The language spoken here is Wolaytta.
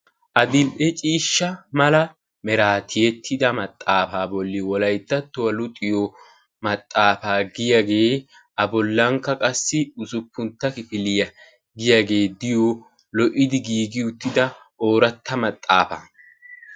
adil'e ciisha meraa tiyetida maxaafaa bolan wolayttattuwa luxiyo maxaafaa usuppuntta kifiliya giyaa xifatee betees.